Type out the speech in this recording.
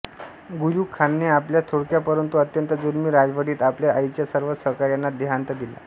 Guyuk खानाने आपल्या थोडक्या परंतु अत्यंत जुलमी राजवटीत आपल्या आईच्या सर्व सहकाऱ्यांना देहांत दिला